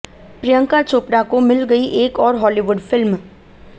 प्रियंका चोपड़ा को मिल गई एक और हॉलीवुड फिल्म